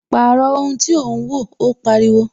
Pàrọ̀ ohun tí ò ń wo! Ó pariwo